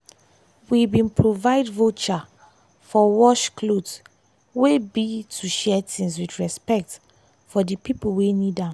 we bin provide voucher for wash cloth wey be to share things with respect for di pipo wey need am.